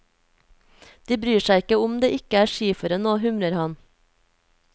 De bryr seg ikke om det ikke er skiføre nå, humrer han.